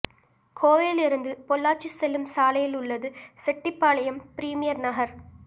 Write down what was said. கோவையில் இருந்து பொள்ளாச்சி செல்லும் சாலையில் உள்ளது செட்டிபாளையம் பிரிமியர் நகர்